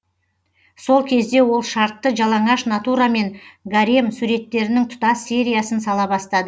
сол кезде ол шартты жалаңаш натурамен гарем суреттерінің тұтас сериясын сала бастады